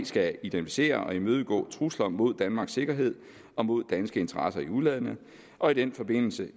skal identificere og imødegå trusler mod danmarks sikkerhed og mod danske interesser i udlandet og i den forbindelse